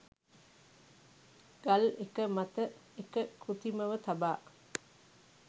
ගල් එක මත එක කෘතිමව තබා